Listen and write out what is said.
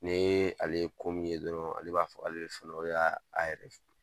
Ni ye ale ko min ye dɔrɔnw, ale b'a fɔ ale b'a fɔ ale fɔlɔ y'a yɛrɛ ye.